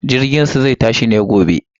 Jirginsu zai tashi ne gobe.